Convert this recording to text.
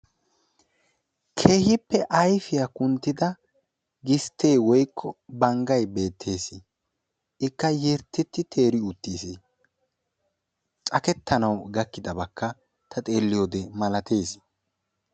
keehippe ayifiya kunttida gistte woyikko banggay beettes. ikka yattetti teeri uttis. cakettanawu gakkidabakka ta xeelliyode malates.